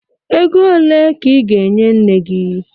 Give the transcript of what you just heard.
Ego ole ka ị ga-enye nne gị.